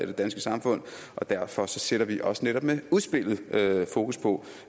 det danske samfund og derfor sætter vi også netop med udspillet fokus på